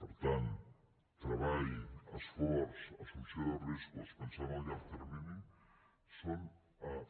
per tant treball esforç assumpció de riscos pensar en el llarg termini són